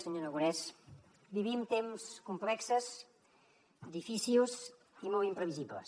senyor aragonès vivim temps complexos difícils i molt imprevisibles